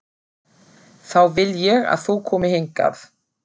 Þá vil ég að þú komir hingað!